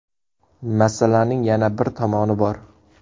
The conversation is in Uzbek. Masalaning yana bir tomoni bor.